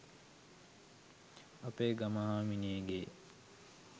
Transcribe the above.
අපේ ගම හාමිනේගේ